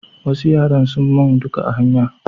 Wasu yara sun mun duka a hanya